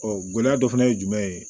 gɛlɛya dɔ fana ye jumɛn ye